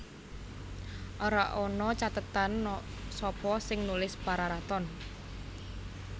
Ora ana cathetan sapa sing nulis Pararaton